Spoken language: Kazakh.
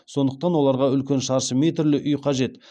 сондықтан оларға үлкен шаршы метрлі үй қажет